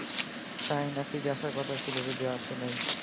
শাহীন আফ্রিদি আসার কথা ছিল যদিও আসে নাই.